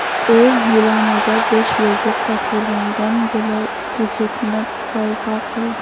U Milanaga besh yulduz tasvirlangan bilaguzukni sovg‘a qildi.